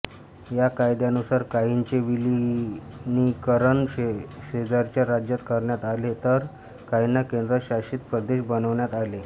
या कायद्यानुसार काहींचे विलिनीकरण शेजारच्या राज्यात करण्यात आले तर काहींना केंद्र शासित प्रदेश बनवण्यात आले